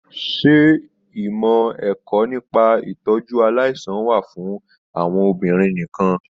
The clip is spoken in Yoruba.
Se ìmọ ẹ̀kọ́ nípa itọju aláìsàn wà fún àwọn obìnrin nìkàn?